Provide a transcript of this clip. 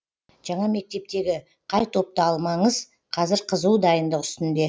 жаңа мектептегі қай топты алмаңыз қазір қызу дайындық үстінде